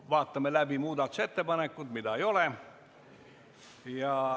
Vaatame läbi muudatusettepanekud, mida ei ole.